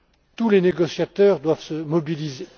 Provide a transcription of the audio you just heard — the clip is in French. Tous les négociateurs doivent se mobiliser.